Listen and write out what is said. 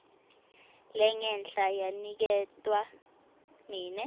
lengenhla yaniketwa mine